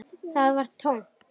Það var tómt.